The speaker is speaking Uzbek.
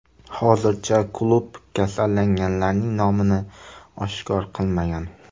Hozircha klub kasallanganlarning nomini oshkor qilmagan.